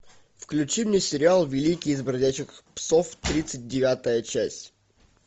включи мне сериал великий из бродячих псов тридцать девятая часть